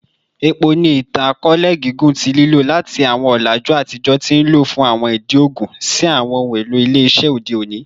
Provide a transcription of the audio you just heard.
Epo ni itan-akọọlẹ gigun ti lilo, lati awọn ọlaju atijọ ti o nlo fun awọn idi oogun si awọn ohun elo ile-iṣẹ ode oni.